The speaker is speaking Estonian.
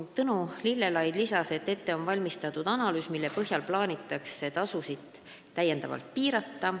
Tõnu Lillelaid ütles, et ette on valmistatud analüüs, mille põhjal plaanitakse tasusid täiendavalt piirata.